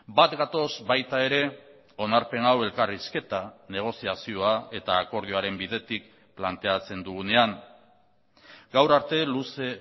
bat gatoz baita ere onarpen hau elkarrizketa negoziazioa eta akordioaren bidetik planteatzen dugunean gaur arte luze